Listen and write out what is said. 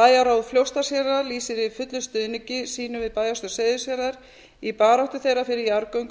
bæjarráð fljótsdalshéraðs lýsir yfir fullum stuðningi sínum við bæjarstjórn seyðisfjarðar í baráttu þeirra fyrir jarðgöngum